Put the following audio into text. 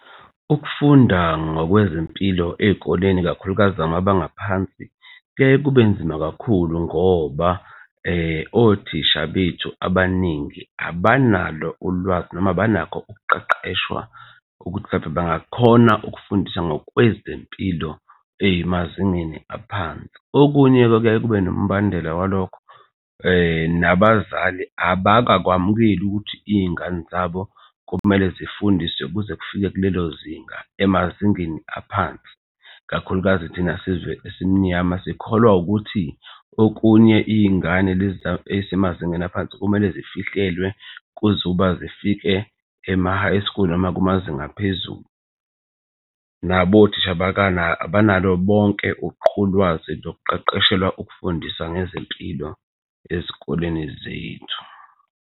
Ukufunda ngokwezempilo ey'koleni kakhulukazi samabanga aphansi kuyaye kube nzima kakhulu ngoba othisha bethu abaningi abanalo ulwazi noma abanakho ukuqeqeshwa ukuthi mhlampe bangakhona ukufundisa ngokwezempilo emazingeni aphansi. Okunye-ke kuyaye kube nombandela walokho nabazali abakakwamukele ukuthi iy'ngane zabo kumele zifundiswe kuze kufike kulelo zinga emazingeni aphansi kakhulukazi thina sizwe esimnyama sikholwa ukuthi okunye iy'ngane lezi ezisemazingeni aphansi kumele sifihlelwa kuze uba zifike emahayi school noma kumazinga aphezulu. Nabo othisha abanalo bonke ulwazi nokuqeqeshelwa ukufundisa ngezempilo ezikoleni zethu.